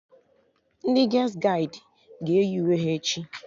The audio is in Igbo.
Ndị ges gaịdị ga-eyi uwe ha echi